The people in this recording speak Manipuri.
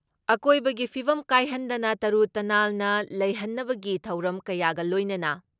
ꯑꯀꯣꯏꯕꯒꯤ ꯐꯤꯕꯝ ꯀꯥꯏꯍꯟꯗꯅ ꯇꯔꯨ ꯇꯅꯥꯜꯅ ꯂꯩꯍꯟꯅꯕꯒꯤ ꯊꯧꯔꯝ ꯀꯌꯥꯒ ꯂꯣꯏꯅꯅ